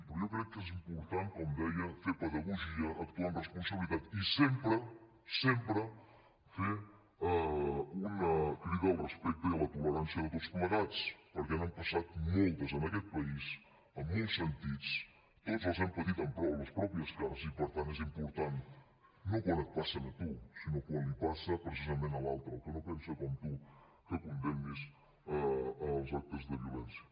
però jo crec que és important com deia fer pedagogia actuar amb responsabilitat i sempre sempre fer una crida al respecte i a la tolerància de tots plegats perquè n’han passat moltes en aquest país en molts sentits tots les hem patit a les pròpies carns i per tant és important no quan et passen a tu sinó quan li passen precisament a l’altre al que no pensa com tu que condemnis els actes de violència